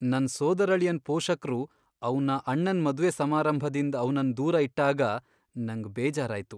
ನನ್ ಸೋದರಳಿಯನ್ ಪೋಷಕ್ರು ಅವ್ನ ಅಣ್ಣನ್ ಮದುವೆ ಸಮಾರಂಭದಿಂದ್ ಅವನನ್ ದೂರ ಇಟ್ಟಾಗ ನಂಗ್ ಬೇಜಾರಾಯ್ತು.